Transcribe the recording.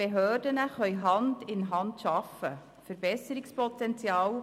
Die Behörden können nun Hand in Hand arbeiten.